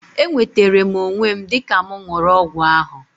E nwetere m onwe m dịka mụ ṅụrụ ọgwụ ahu